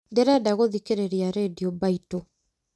ndĩrenda gũthikĩrĩria rĩndiũ mbaitũ